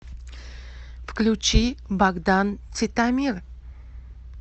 включи богдан титомир